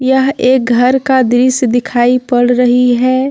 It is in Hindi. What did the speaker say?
यह एक घर का दृश्य दिखाई पड़ रही है।